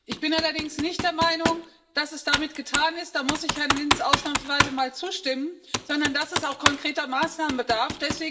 Ich bin allerdings nicht der Meinung, dass es damit getan ist da muss ich Herrn Lins ausnahmsweise mal zustimmen sondern dass es auch konkreter Maßnahmen bedarf.